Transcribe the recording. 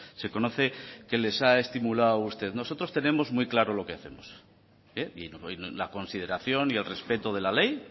se conoce que les ha estimulado usted nosotros tenemos muy claro lo que hacemos y la consideración y el respeto de la ley